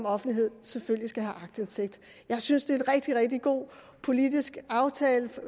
offentligheden selvfølgelig skal have aktindsigt jeg synes det er en rigtig rigtig god politisk aftale